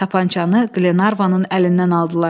Tapançanı Qlenarvanın əlindən aldılar.